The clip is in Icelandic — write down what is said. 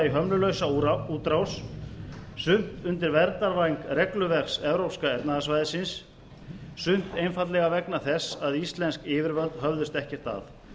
hömlulausa útrás sumt undir verndarvæng regluverks evrópska efnahagssvæðisins sumt einfaldlega vegna þess að íslensk yfirvöld höfðust ekkert að